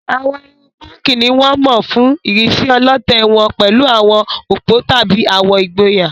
Àwọn irun púnkì ni wọ́n mọ̀ fún ìrísí ọlọ̀tẹ̀ wọn pẹ̀lú àwọn òpó tàbí àwọ̀ ìgboyà.